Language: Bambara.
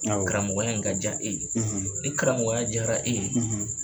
Awɔ karamɔgɔya in ka ja e ye ni karamɔgɔya diyara e ye.